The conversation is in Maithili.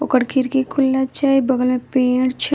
ओकर खिड़की खुलल छै बगल मे पेड़ छै ।